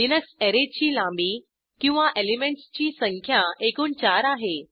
Linux अॅरेची लांबी किंवा एलिमेंटसची संख्या एकूण चार आहे